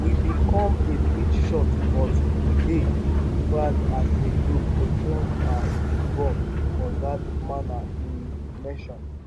we bin come a bit short but [we dey] proud as a group to shown our football for dt manner im mention